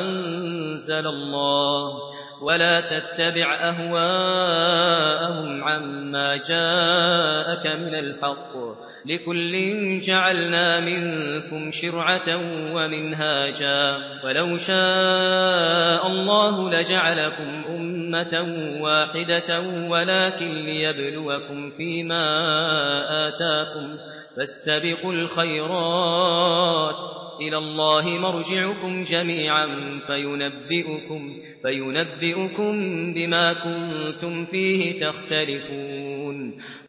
أَنزَلَ اللَّهُ ۖ وَلَا تَتَّبِعْ أَهْوَاءَهُمْ عَمَّا جَاءَكَ مِنَ الْحَقِّ ۚ لِكُلٍّ جَعَلْنَا مِنكُمْ شِرْعَةً وَمِنْهَاجًا ۚ وَلَوْ شَاءَ اللَّهُ لَجَعَلَكُمْ أُمَّةً وَاحِدَةً وَلَٰكِن لِّيَبْلُوَكُمْ فِي مَا آتَاكُمْ ۖ فَاسْتَبِقُوا الْخَيْرَاتِ ۚ إِلَى اللَّهِ مَرْجِعُكُمْ جَمِيعًا فَيُنَبِّئُكُم بِمَا كُنتُمْ فِيهِ تَخْتَلِفُونَ